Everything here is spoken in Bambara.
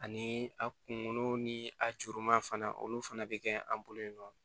Ani a kunkolo ni a juruma fana olu fana bɛ kɛ an bolo yen nɔ